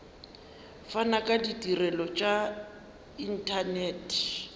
fana ka ditirelo tša inthanete